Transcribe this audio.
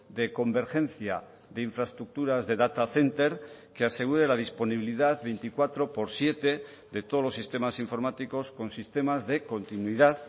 de convergencia de infraestructuras de data center que asegure la disponibilidad veinticuatro por siete de todos los sistemas informáticos con sistemas de continuidad